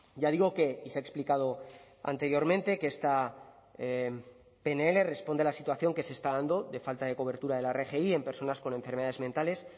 ya digo que y se ha explicado anteriormente que esta pnl responde a la situación que se está dando de falta de cobertura de la rgi en personas con enfermedades mentales